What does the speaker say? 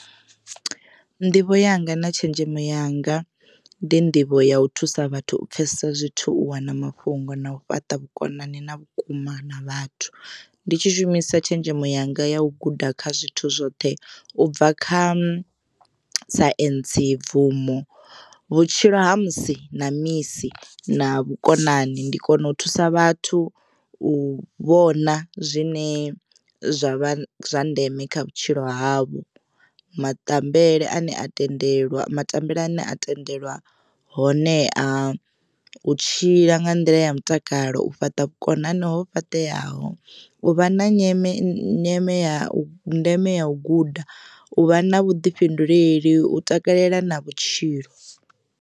Nḓivho yanga na tshenzhemo yanga ndi nḓivho ya u thusa vhathu u pfesesa zwithu u wana mafhungo na u fhaṱa vhukonani na vhukuma na vhathu. Ndi tshi shumisa tshenzhemo yanga ya u guda kha zwithu zwoṱhe ubva kha science bvumo vhutshilo ha musi na misi na vhukonani ndi kona u thusa vhathu u vhona zwine zwa vha zwa ndeme kha vhutshilo havho. Maṱambele ane a tendelwa matambele ane a tendelwa honeha u tshila nga nḓila ya mutakalo u fhaṱa vhukonani ho fhaṱeaho u vha na nyame nyame ya ndeme ya u guda u vha na vhuḓifhinduleli u takalela na vhutshilo.